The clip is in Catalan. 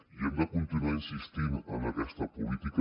i hem de continuar insistint en aquesta política